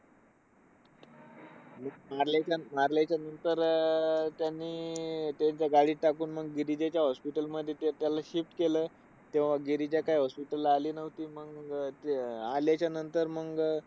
मारल्याचा मारल्याच्या नंतर अं त्यांनी त्यांचा गाडीत टाकून मग गिरिजाच्या hospital मध्ये त्याला shift केलं. तेव्हा गिरीजा काय hospital ला आली नव्हती. मंग अं ते आल्याच्यानंतर मंग